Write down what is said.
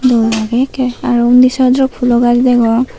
dol agey ekkey arow unni sodorok pulo gaj degong.